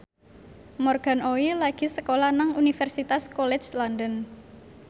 Morgan Oey lagi sekolah nang Universitas College London